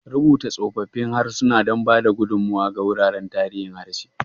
Rubuta tsoffin harsuna don ba da gudummawa ga wuraren tarihin harshe.